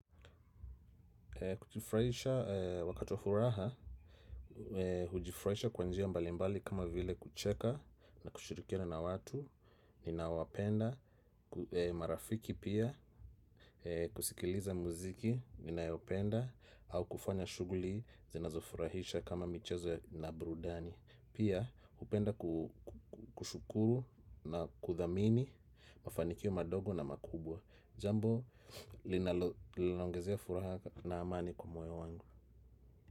Kujifurahisha wakati wa furaha, hujifraisha kwa njia mbalimbali kama vile kucheka na kushirikiana na watu ninaowapenda, marafiki pia, kusikiliza muziki ninayopenda, au kufanya shughuli zinazofurahisha kama michezo na burudani. Pia, hupenda kushukuru na kuthamini mafanikio madogo na makubwa. Jambo linaloongezea furaha na amani kwa moyo wangu.